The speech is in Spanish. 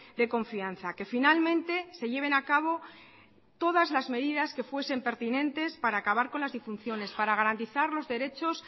de confianza que finalmente se lleven a cabo todas las medidas que fuesen pertinentes para acabar con las disfunciones para garantizar los derechos